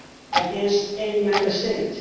against any Member State